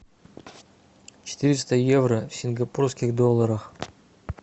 четыреста евро в сингапурских долларах